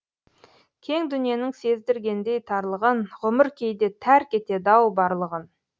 кең дүниенің сездіргендей тарлығын ғұмыр кейде тәрк етеді ау барлығын